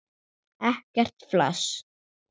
Ekkert flas!